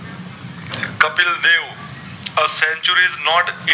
This century is not kept